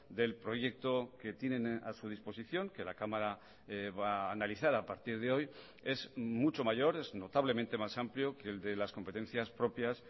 del proyecto que tienen a su disposición que la cámara va a analizar a partir de hoy es mucho mayor es notablemente más amplio que el de las competencias propias